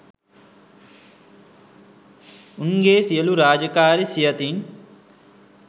උන්ගේ සියලූ රාජකාරි සියතින්